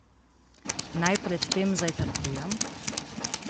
Naj pred tem zajtrkujem?